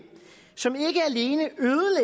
som